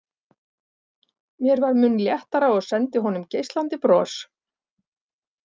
Mér varð mun léttara og sendi honum geislandi bros.